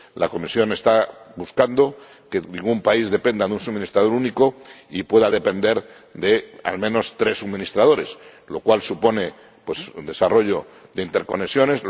La Comisión está buscando que ningún país dependa de un suministrador único y pueda depender de al menos tres suministradores, lo cual supone un desarrollo de interconexiones